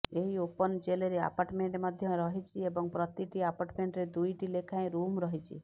ଏହି ଓପନ ଜେଲରେ ଆପାର୍ଟମେଣ୍ଟ ମଧ୍ୟ ରହିଛି ଏବଂ ପ୍ରତିଟି ଆପାର୍ଟମେଣ୍ଟରେ ଦୁଇଟି ଲେଖାଏଁ ରୁମ ରହିଛି